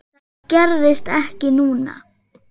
Það gerðist ekki núna.